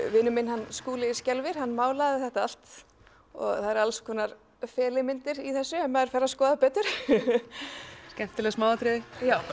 vinur minn hann Skúli skelfir hann málaði þetta allt það eru alls konar í þessu ef maður fer að skoða betur skemmtileg smáatriði